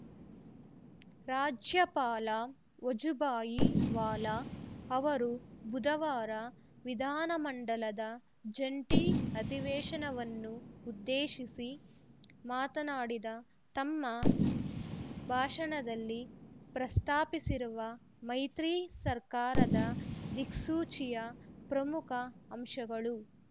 ರಾಜ್ಯಪಾಲ ವಜುಭಾಯಿ ವಾಲಾ ಅವರು ಬುಧವಾರ ವಿಧಾನಮಂಡಲದ ಜಂಟಿ ಅಧಿವೇಶನವನ್ನುಉದ್ದೇಶಿಸಿ ಮಾಡಿದ ತಮ್ಮ ಭಾಷಣದಲ್ಲಿ ಪ್ರಸ್ತಾಪಿಸಿರುವ ಮೈತ್ರಿ ಸರ್ಕಾರದ ದಿಕ್ಸೂಚಿಯ ಪ್ರಮುಖ ಅಂಶಗಳು